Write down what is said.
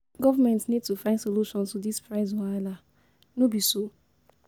Government need to find solution to this price wahala, no be so?